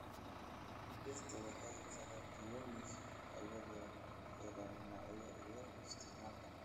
Dhirta waxay kala duwan yihiin iyadoo ku xiran nooca iyo isticmaalka.